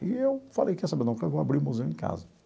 E eu falei, quer saber, não, vou abrir o museu em casa.